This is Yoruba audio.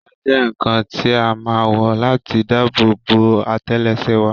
Bàtà jẹ́ ǹǹkan tí a má ǹ wọ̀ láti dáàbò bo àtẹ́lẹsẹ̀ wa